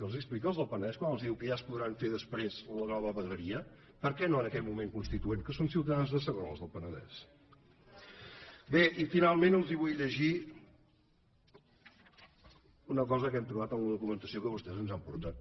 els ho explica als del penedès quan els diu que ja es podran fer després la nova vegueria per què no en aquest moment constituent que són ciutadans de segona els del penedès bé i finalment els vull llegir una cosa que hem trobat en la documentació que vostès ens han portat